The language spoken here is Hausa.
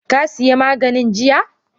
Ka sayi maganin jiya?